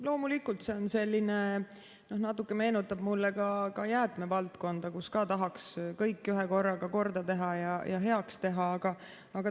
Loomulikult, see natuke meenutab mulle ka jäätmevaldkonda, kus ka tahaks kõik ühekorraga korda teha ja heaks teha.